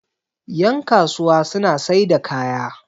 yankasuwa suna sai da kaya